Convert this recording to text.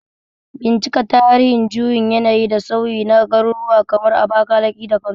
Bincika tarihin juyin yanayi da sauyi na garuruwa kamar Abakalaki da Kano